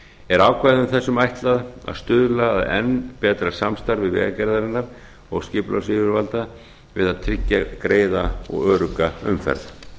er ákvæðum þessum ætlað að stuðla að enn betra samstarfi vegagerðarinnar og skipulagsyfirvalda við að tryggja greiða og örugga umferð